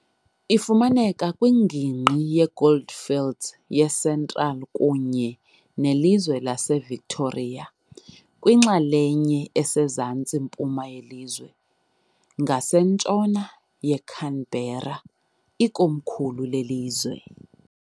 Ifumaneka kwingingqi yeGoldfields yeCentral kunye nelizwe laseVictoria, kwinxalenye esezantsi-mpuma yelizwe, km ngasentshona yeCanberra, ikomkhulu lelizwe.